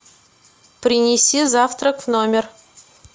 принеси завтрак в номер